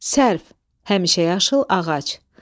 Sərf, həmişəyaşıl ağac.